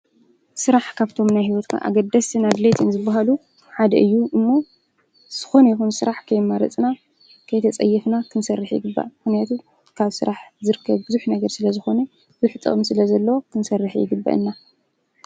ስራሕ ካብቶም ናይ ሂወትና ኣገደስቲን ኣድለይቲን ዝባሃሉ ሓደ እዩ ።እሞ ዝኾነ ይኹን ስራሕ ከይመረፅና ከይተፀየፍና ክንሰርሕ ይግባእ ምክንያቱ ካብ ስራሕ ዝርከብ ቡዙሕ ነገር ስለዝኾነ ቡዙሕ ጥቅሚ ስለዘለዎ ።